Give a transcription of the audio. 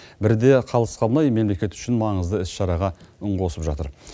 бірі де қалыс қалмай мемлекет үшін маңызды іс шараға үн қосып жатыр